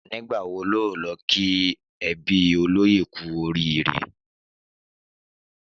Nígbà wo o óò lo kí ebí olóyè kú orííre?